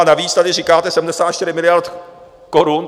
A navíc tady říkáte 74 miliard korun.